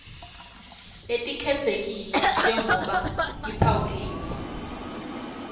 letikhetsekile njengobe tiphawuliwe